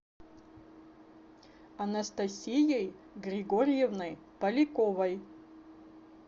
анастасией григорьевной поляковой